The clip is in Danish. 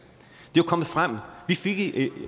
vi fik i